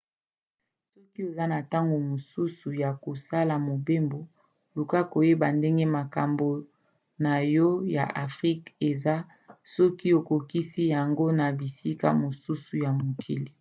soki oza na ntango mosusu ya kosala mobembo luka koyeba ndenge makambo na yo ya afrika eza soki okokisi yango na bisika mosusu ya mokili